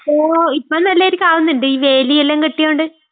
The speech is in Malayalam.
ഇപ്പൊ നല്ല നിലയ്ക്ക് ആവുന്നുണ്ട്, ഈ വേലിയെല്ലാം കെട്ടിയൊണ്ട്.